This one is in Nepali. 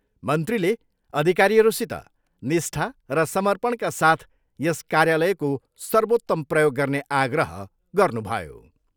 मन्त्रीले अधिकारीहरूसित निष्ठा र समपर्णका साथ यस कार्यालयको सर्वोत्तम प्रयोग गर्ने आग्रह गर्नुभयो।